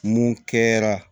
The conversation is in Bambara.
Mun kɛra